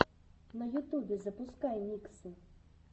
на ютубе запускай миксы